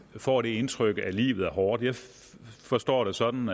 får det indtryk at livet er hårdt jeg forstår det sådan